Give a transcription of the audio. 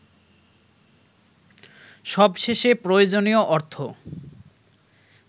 সবশেষে প্রয়োজনীয় অর্থ